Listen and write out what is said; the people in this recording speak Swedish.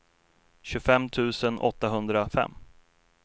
tjugofem tusen åttahundrafem